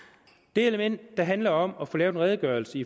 det element der handler om at få lavet en redegørelse